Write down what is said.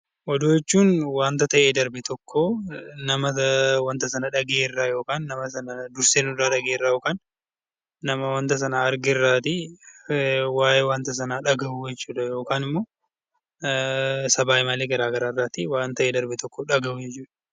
Oduu jechuun waan ta'ee darbe tokko nama wanta sana dhagayerraa yookiin dursee dhagayerraa yookaan nama wanta sana argerraawanta sana dhagahuu yookiin miidiyaalee garaagaraa irraa dhagahuu jechuudha